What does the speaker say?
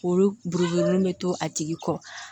Olu buruji mun bɛ to a tigi kɔ